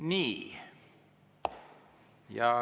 Nii.